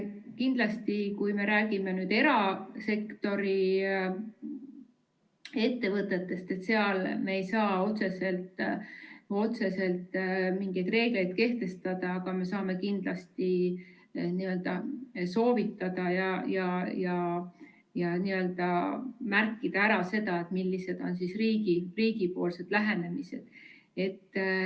Kindlasti, kui me räägime nüüd erasektori ettevõtetest, siis seal me ei saa otseselt mingeid reegleid kehtestada, aga me saame kindlasti soovitada ja märkida ära selle, millised on riigipoolne lähenemine.